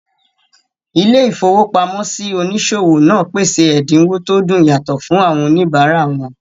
Ilé-ìfowópamọ́sí onísòwò náà pèsè ẹ̀dínwó tó dùn yàtọ̀ fún àwọn òníbárà wọn